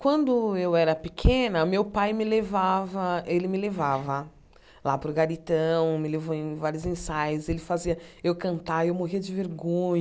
Quando eu era pequena, meu pai me levava, ele me levava lá para o garitão, me levou em vários ensaios, ele fazia eu cantar e eu morria de vergonha.